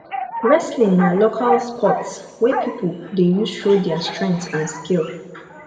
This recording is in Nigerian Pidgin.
wrestling na local sports wey pipo dey use show their strength and skill